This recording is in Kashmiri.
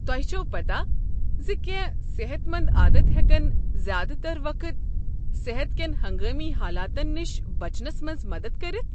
تۄہہ چھوٕ پتاہ زِ کینٛہہ صحت مند عادت ہٮ۪کن زیادٕ تر وقتہٕ صحت کٮ۪ن ہنگامی حالاتن نش بچنس منٛز مدتھ کٔرتھ؟